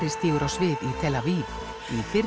stígur á svið í fyrri